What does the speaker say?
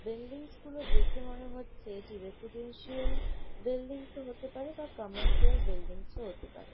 Buildings -গুলো দেখে মনে হচ্ছে এটি রেসিডেন্সিয়াল বিল্ডিংস -ও হতে পারে বা কমার্শিয়াল বিল্ডিংস -ও হতে পারে।